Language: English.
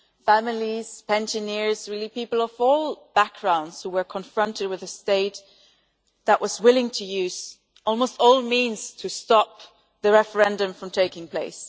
Families, pensioners, people of all backgrounds, were confronted with a state that was willing to use almost all means to stop the referendum from taking place.